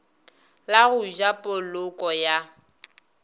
la go ja poloko ya